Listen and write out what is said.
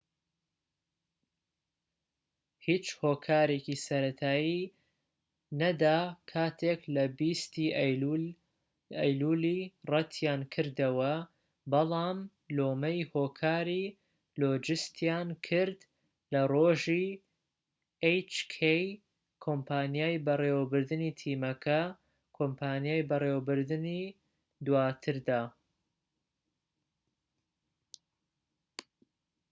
کۆمپانیای بەڕێوەبردنی تیمەکە کۆمپانیای بەڕێوەبردنی hk هیچ هۆکارێکی سەرەتایی نەدا کاتێک لە 20ی ئەیلولی ڕەتیانکردەوە بەڵام لۆمەی هۆکاری لۆجستیان کرد لە ڕۆژی دواتردا